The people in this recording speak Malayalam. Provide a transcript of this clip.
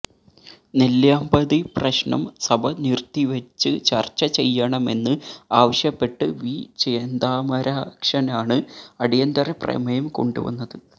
നെല്ലിയാമ്പതി പ്രശ്നം സഭ നിര്ത്തിവച്ച് ചര്ച്ച ചെയ്യണമെന്ന് ആവശ്യപ്പെട്ട് വി ചെന്താമരാക്ഷനാണ് അടിയന്തരപ്രമേയം കൊണ്ടുവന്നത്